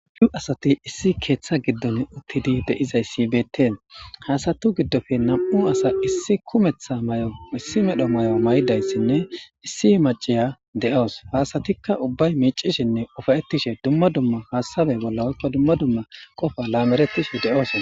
Nu asati issi keeththa giddon uttidi de'izayssibeettee haasatu giddofe nam7u asa issi kumeththa may7o issi medho may7o may7dayssinne issi maciya de7oos faasatikka ubbay miicishinne ufayettishe dumma dumma haasabe bolla woykka dumma dumma qofa laamerettishe de'oosona